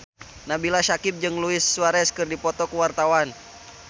Nabila Syakieb jeung Luis Suarez keur dipoto ku wartawan